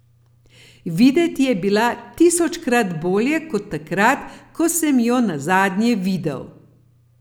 Videti je bila tisočkrat bolje kot takrat, ko sem jo nazadnje videl.